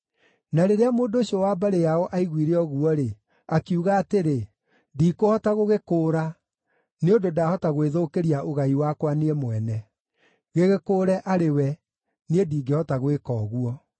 Na rĩrĩa mũndũ ũcio wa mbarĩ yao aiguire ũguo-rĩ, akiuga atĩrĩ, “Ndikũhota gũgĩkũũra, nĩ ũndũ ndahota gwĩthũkĩria ũgai wakwa niĩ mwene. Gĩgĩkũũre arĩ we. Niĩ ndingĩhota gwĩka ũguo.”